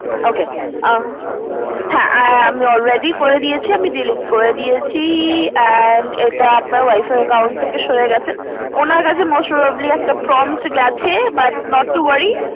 Ok হ্যা আমি already করে দিয়েছি আমি delink করে দিয়েছি and এটা আপনার wife এর account থেকে সরে গেছে ওনার কাছে most probably একটা form গেছে but not to worry